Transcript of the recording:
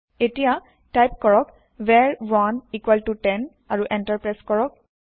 এতিয়া টাইপ কৰক var110 আৰু এন্টাৰ প্ৰেছ কৰক